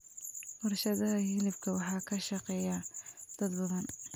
Warshadaha hilibka waxaa ka shaqeeya dad badan.